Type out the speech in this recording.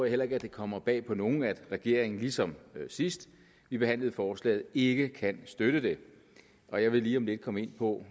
heller ikke det kommer bag på nogen at regeringen ligesom sidst vi behandlede forslaget ikke kan støtte det og jeg vil lige om lidt komme ind på